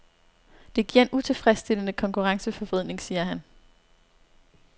Det giver en utilfredsstillende konkurrenceforvridning, siger han.